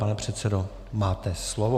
Pane předsedo, máte slovo.